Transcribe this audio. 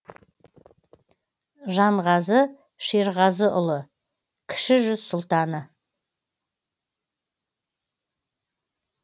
жанғазы шерғазыұлы кіші жүз сұлтаны